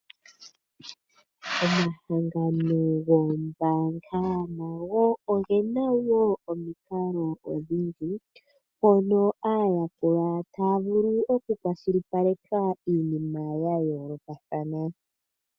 Omahangano goombaanga nago ogena woo omikalo odhindji mono aayakulwa yawo taya vulu oku kwashilipaleka iinima ya yoolokathana.